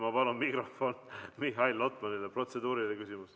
Ma palun mikrofon Mihhail Lotmanile, tal on protseduuriline küsimus.